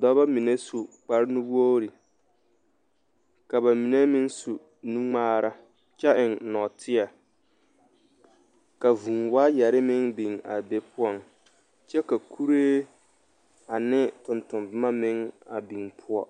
dɔba mine su kparenuwogri ka ba mine meŋ su nuŋmaara kyɛ eŋ nɔɔteɛ ka vūū waayɛre meŋ biŋ a be poɔŋ kyɛ ka kuree ane tontonboma meŋ a biŋ poɔ.